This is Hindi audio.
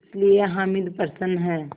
इसलिए हामिद प्रसन्न है